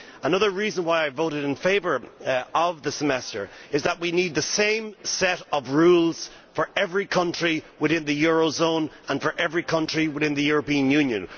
Another reason why I voted in favour of the Semester is that we need the same set of rules for every country within the eurozone and for every country within the European Union.